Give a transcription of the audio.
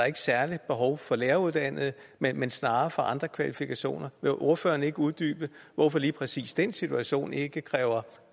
et særligt behov for læreruddannede men snarere for andre kvalifikationer vil ordføreren ikke uddybe hvorfor lige præcis den situation ikke kræver